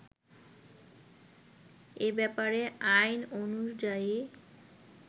এ ব্যাপারে আইন অনুযায়ী